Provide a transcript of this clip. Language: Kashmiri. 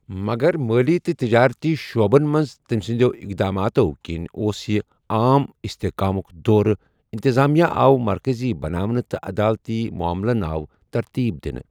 مَگَر مٲلی تہٕ تِجٲرتی شُعبَن مَنٛز تمہِ سٕندِیو اقداماتو٘ كِنہِ اوس یہ عام استحقامٗك دور ،اِنتِظامِیَہ آو مركزی بناونہٕ تہٕ عدالتٕی معملن آو ترتیب دِنہٕ ۔